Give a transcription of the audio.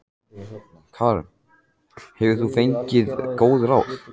Karen: Hefur þú fengið góð ráð?